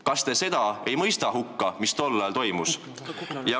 Kas te seda ei mõista hukka, mis tol ajal toimus?